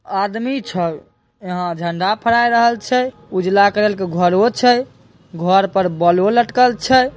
आदमी छै यहाँ झंडा फहराएल रहल छै उजला करल के घरोवो छै घर पर बोल्बो लटकल छै।